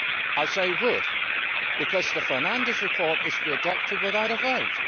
I say would' because the Fernandes report is to be adopted without a vote.